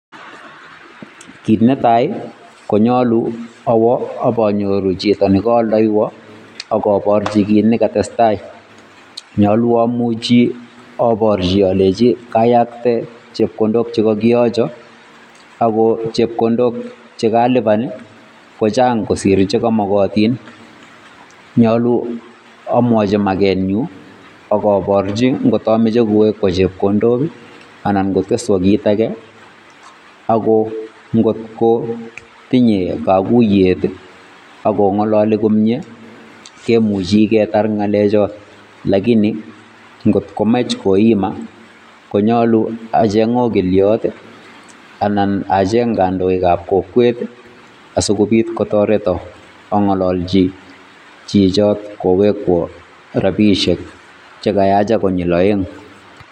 Kiit netai konyolu awoo ipanyoru chito neka aldoiwan akaporchi kiit nekatestai. Nyolu amuchi aporchi ale kayakte chepkondok chekakiyocho ako chepkondok chekalipan kochang kosiir chekamakatin, nyoli amwachin makenyun ako porchin kotamache kowekwo chepkondok anan koteswo kiit ake ako ngotko tinye kakuiyet ako ngololi komnye kemuchei ketar ngalechot lakini ngotko mech koimaa konyolu acheng okliot anan acheng kandoikab kokwet asikopit kotoreto angalalchi chichot kowekwo rapisiek chekayacha konyil aeng.